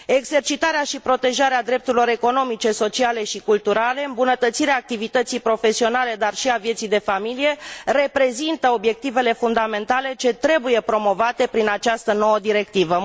Exercitarea și protejarea drepturilor economice, sociale și culturale, îmbunătățirea activității profesionale, dar și a vieții de familie, reprezintă obiectivele fundamentale ce trebuie promovate prin această nouă directivă.